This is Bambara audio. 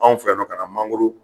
Anw fɛ yan nɔ ka na mangoro